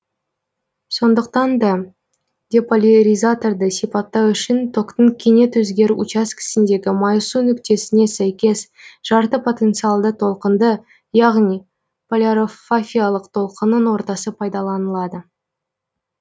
сондықтан да деполяризаторды сипаттау үшін токтың кенет өзгеру учаскесіндегі майысу нүктесіне сәйкес жарты потенциалды толқынды яғни полярофафиялық толқынның ортасы пайдаланылады